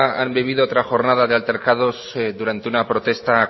han vivido otra jornada de altercados durante una protesta